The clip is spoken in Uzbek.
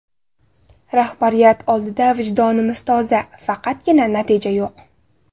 Rahbariyat oldida vijdonimiz toza, faqatgina natija yo‘q.